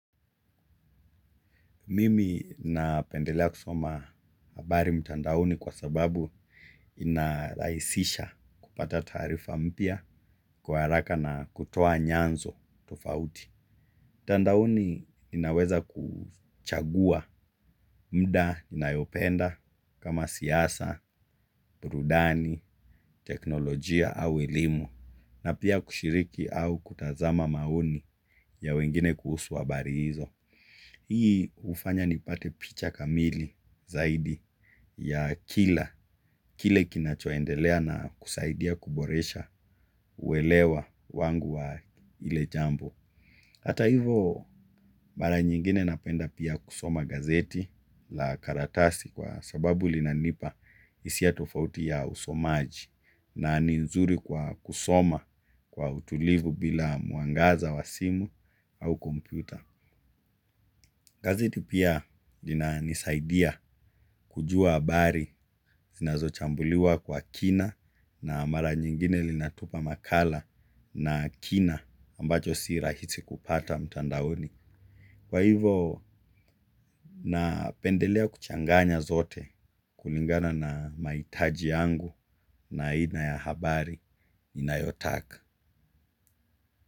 Mimi napendelea kusoma habari mtandaoni kwa sababu inarahisisha kupata taarifa mpya kwa haraka na kutoa nyanzo tofauti. Mtandaonii ninaweza kuchagua muda ninayopenda kama siasa, burudani, teknolojia au elimu na pia kushiriki au kutazama maoni ya wengine kuhusu habari hizo. Hii hufanya nipate picha kamili zaidi ya kila, kile kinachoendelea na kusaidia kuboresha uelewa wangu wa ile jambo. Hata hivo, mara nyingine napenda pia kusoma gazeti la karatasi kwa sababu linanipa hisia tofauti ya usomaji na ni nzuri kwa kusoma kwa utulivu bila mwangaza wa simu au kompyuta. Gazeti pia lina lnisaidia kujua habari zinazochambuliwa kwa kina na mara nyingine linatupa makala na kina ambacho si rahisi kupata mtandaoni. Kwa hivo napendelea kuchanganya zote kulingana na mahitaji yangu na aina ya habari ninayotaka.